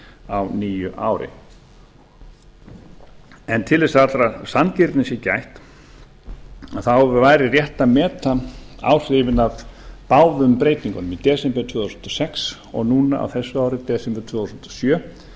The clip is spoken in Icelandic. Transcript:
á nýju ári til þess að allrar sanngirni gætt væri rétt að meta áhrifin af báðum breytingunum í desember tvö þúsund og sex og núna á þessu ári desember tvö þúsund og sjö